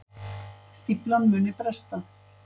Stíflan muni bresta